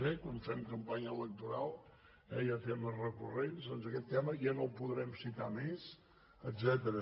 quan fem campanya electoral hi ha temes recurrents doncs aquest tema ja no el podrem citar més etcètera